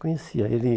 Conhecia. Ele